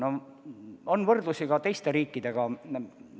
On teada võrdlusi ka teiste riikidega.